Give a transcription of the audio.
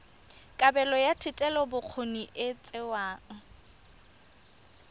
kabelo ya thetelelobokgoni e tsewa